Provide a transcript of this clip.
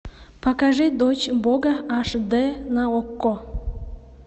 покажи дочь бога аш д на окко